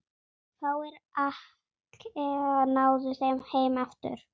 Fáir Akkea náðu heim aftur.